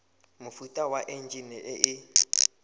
mofuta wa enjine e e